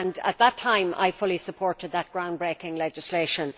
At that time I fully supported that groundbreaking legislation.